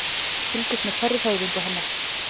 Fylgist með hverri hreyfingu hennar.